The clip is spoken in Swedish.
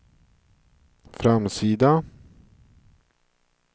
framsida